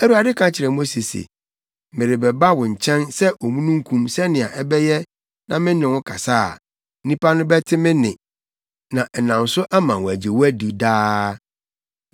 Awurade ka kyerɛɛ Mose se, “Merebɛba wo nkyɛn sɛ omununkum sɛnea ɛbɛyɛ na me ne wo kasa a, nnipa no bɛte me nne na ɛnam so ama wɔagye wo adi daa.”